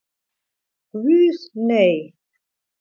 Guð, nei.